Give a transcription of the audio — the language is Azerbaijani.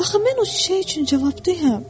Axı mən o çiçək üçün cavabdehim?